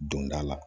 Don da la